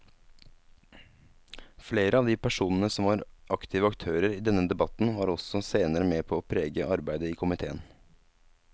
Flere av de personene som var aktive aktører i denne debatten var også senere med på å prege arbeidet i komiteen.